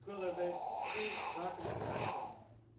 Ik wil daarbij twee zaken in de verf zetten.